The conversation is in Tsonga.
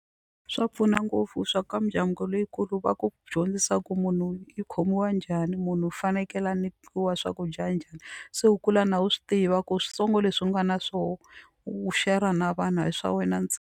Swa pfuna ngopfu swa ka mindyangu leyikulu va ku dyondzisa ku munhu i khomiwa njhani munhu u fanekele a nyikiwa swakudya njhani se u kula na wu swi tiva ku switsongo leswi nga na swo u share-a na vanhu a hi swa wena ntsena.